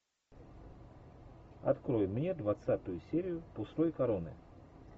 открой мне двадцатую серию пустой короны